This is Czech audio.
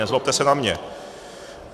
Nezlobte se na mě.